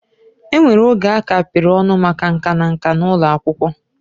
Enwere oge a kapịrị ọnụ maka nka na nka n'ụlọ akwụkwọ